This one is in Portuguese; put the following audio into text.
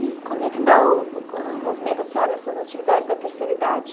E quando é que dá o o envolvimento da senhora nessas atividades da terceira idade?